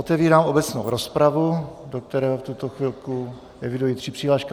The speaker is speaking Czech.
Otevírám obecnou rozpravu, do které v tuto chvilku eviduji tři přihlášky.